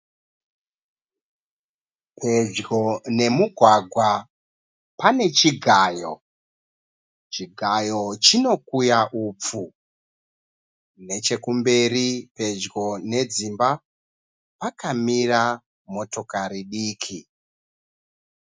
Pedjo nemugwagwa pane chigayo. Chigayo chinokuya upfu. Nechekumberi pedyo nedzimba pakamira motokare diki.